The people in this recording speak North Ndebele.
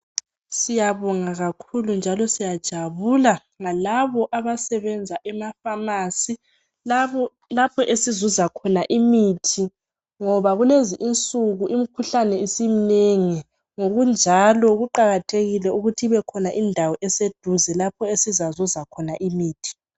Siyabonga kakhulu njalo siyajabula ngalabo abasebenza ema-pharmacy. Labo-lapho esizuza khona imithi, ngoba kulezi insuku imikhuhlane isimnengi. Ngokunjalo kuqakathekile ukuthi kubekhona indawo eseduze lapho esizazuza khona imithi.